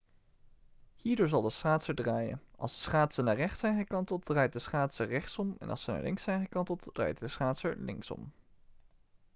hierdoor zal de schaatser draaien als de schaatsen naar rechts zijn gekanteld draait de schaatser rechtsom en als ze naar links zijn gekanteld draait de schaatser linksom